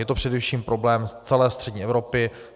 Je to především problém celé střední Evropy.